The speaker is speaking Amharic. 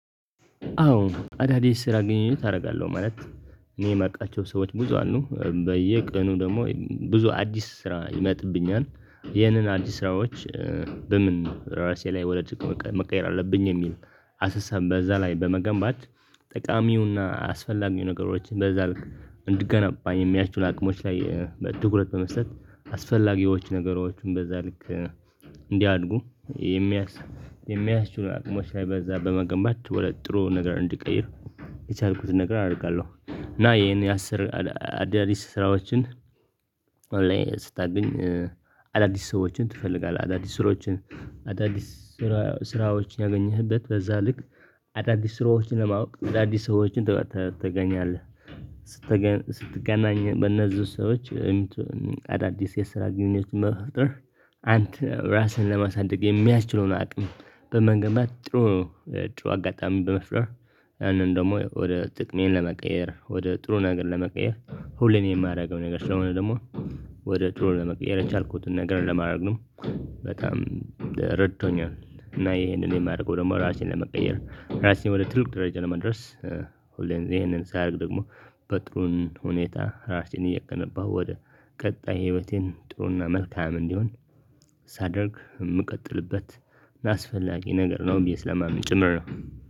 አዎ አዳዲስ ስራ ግንኙነት አደርጋለሁ ማለት እኔ የማውቃቸው ሰዎች ብዙ አሉ በየቅኑ ደግሞ ብዙ አዲስ ስራ ይመጡብኛል። ይህንን አዲስ ስራዎች በምን ራሴ ላይ ወደ ጥቅም መቀየር አለብኝ የሚል አሰሳብ በዛ ላይ በመገንባት ጠቃሚውና አስፈላጊው ነገሮችን በዛ ልክ እንድገነባ የሚያችሉ አቅሞች ላይ በድኩረት በመስጠት አስፈላጊዎች ነገሮችን በዛ ልክ እንዲያድጉ የሚያስችሉ አቅሞች ላይ በዛ በመገንባት በሁለት ጥሩ ነገር እንዲቀይር የቻልኩትን ነገር አደርጋለሁ። እና ይሄን የአስር አዳዲስ ስራዎችን ላይ ስታገኝ አዳዲስ ሰዎችን ትፈልጋለህ አዳዲስ ስሮችን አዳዲስ ስራዎችን ያገኘህበት በዛ ልክ አዳዲስ ስራዎችን ለማወቅ አዳዲስ ሰዎችን ትቀጥለህ ትገኛለህ። ስትገናኝ በእነዚህ ሰዎች አዳዲስ የስራ ግንኙነት መፍጠር አንተ ራስህን ለማሳደግ የሚያስችለውን አቅም በመገንባት ጥሩ ጥሩ አጋጣሚ በመፍጠር ደግሞ ወደ ጥቅሜን ለመቀየር ወደ ጥሩ ነገር ለመቀየር ሁሌም የማደርገው ነገር ስለሆነ ደግሞ ወደ ጥሩ ለመቀየር የቻልኩትን ነገር ለማድረግ ነው። በጣም ረድቶኛል። እና ይሄንን የማደርገው ደግሞ ራሴን ለመቀየር ራሴን ወደ ትልቅ ደረጃ ለመድረስ ሁሌም ይሄንን ሳያደርግ ደግሞ በጥሩን ሁኔታ ራስን እየገነባው ወደ ቀጣይ ህይወቴን ጥሩና መልካም እንዲሆን ሳደርግ የምቀጥልበት አስፈላጊ ነገር ነው ብዬ ስለማምን ጭምር ነው